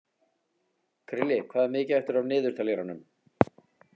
Krilli, hvað er mikið eftir af niðurteljaranum?